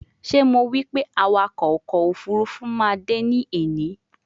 Sho Mo wipe awako oko ofurufu ma de ni eni?